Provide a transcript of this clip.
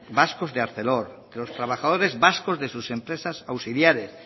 vascos de arcelor los trabajadores vascos de sus empresas auxiliares